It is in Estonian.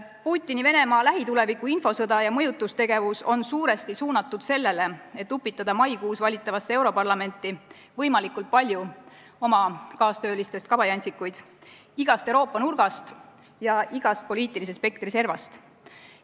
Putini Venemaa lähituleviku infosõda ja mõjutustegevus on suuresti suunatud sellele, et upitada maikuus valitavasse europarlamenti võimalikult palju oma kaastöölistest kabajantsikuid igast Euroopa nurgast ja igast poliitilise spektri servast.